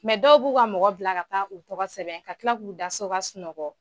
dɔw b'u ka mɔgɔ bila ka taa u tɔgɔ sɛbɛn ka kila k'u da so ka sunɔgɔ.